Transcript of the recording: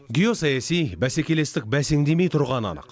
геосаяси бәсекелестік бәсеңдемей тұрғаны анық